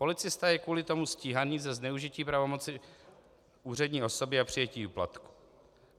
Policista je kvůli tomu stíhaný za zneužití pravomoci úřední osoby a přijetí úplatků.